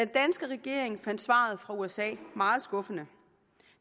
danske regering fandt svaret fra usa meget skuffende